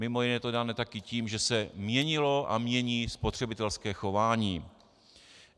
Mimo jiné je to dáno také tím, že se měnilo a mění spotřebitelské chování.